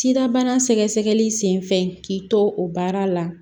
Sidabana sɛgɛsɛgɛli senfɛ k'i to o baara la